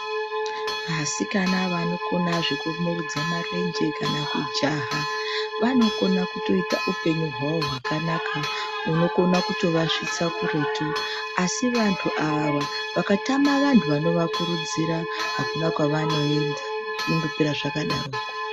Asikana vanokona zvekusumudza marenje kana kujaha vanokona kutoita upenyu hwavo hwakanaka hunokona kutovasvitsa kuretu. Asi antu ava vakatana vantu vanovakurudzira, hakuna kwavanoinda, zvinondopera zvakadaroko.